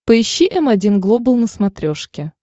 поищи м один глобал на смотрешке